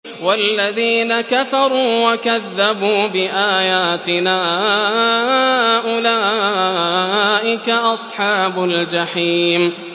وَالَّذِينَ كَفَرُوا وَكَذَّبُوا بِآيَاتِنَا أُولَٰئِكَ أَصْحَابُ الْجَحِيمِ